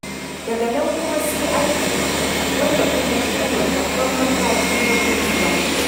Daga nan kuma, sai aiki, wanda kuma shi ne babban mataki na gurzuwa.